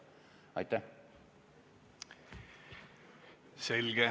Aitäh!